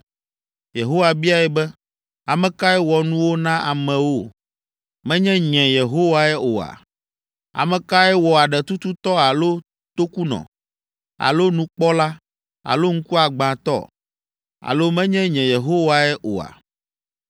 Yehowa biae be, “Ame kae wɔ nuwo na amewo? Menye nye, Yehowae oa? Ame kae wɔ aɖetututɔ alo tokunɔ, alo nukpɔla, alo ŋkuagbãtɔ? Alo menye nye Yehowae oa?